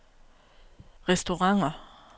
restauranter